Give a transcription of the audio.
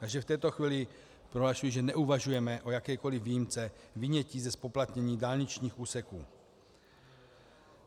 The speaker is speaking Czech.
Takže v této chvíli prohlašuji, že neuvažujeme o jakékoli výjimce vynětí ze zpoplatnění dálničních úseků.